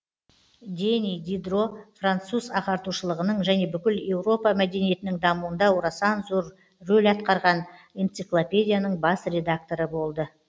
дени дидро француз ағартушылығының және бүкіл еуропа мәдениетінің дамуында орасан зор рөл атқарған энциклопедияның бас редакторы болды